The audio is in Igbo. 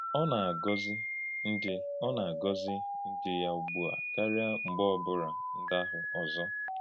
Ọ na-agọ́zì ndí Ọ na-agọ́zì ndí yá ùgbù a káríá mgbe ọ̀ bụ́rà ndáhụ̀ ọ́zọ.